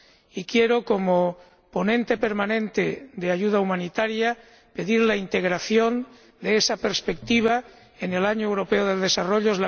Y quiero, como ponente permanente de ayuda humanitaria, pedir la integración de esa perspectiva en el Año Europeo del Desarrollo.